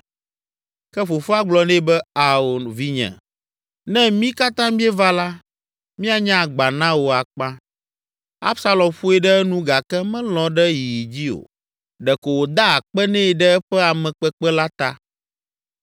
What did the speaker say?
Ke fofoa gblɔ nɛ be, “Ao, vinye, ne mí katã míeva la, míanye agba na wò akpa.” Absalom ƒoe ɖe enu gake melɔ̃ ɖe yiyi dzi o; ɖeko wòda akpe nɛ ɖe eƒe amekpekpe la ta.